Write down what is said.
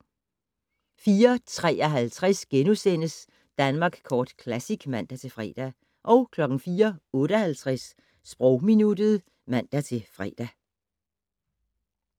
04:53: Danmark Kort Classic *(man-fre) 04:58: Sprogminuttet (man-fre)